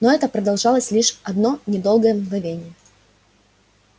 но это продолжалось лишь одно недолгое мгновение